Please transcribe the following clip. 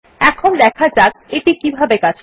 এখন দেখা যাক এটি কিভাবে কিভাবে কাজ করে